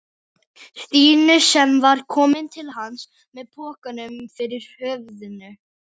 Stínu sem var komin til hans með pokann yfir höfðinu.